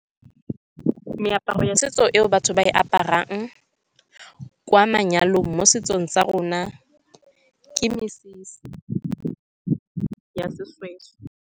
Meaparo ya setso eo batho ba e aparang kwa manyalong, mo setsong sa rona ke mesese ya seshweshwe.